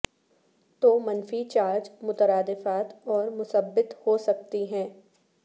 تو منفی چارج مترادفات اور مثبت ہو سکتی ہے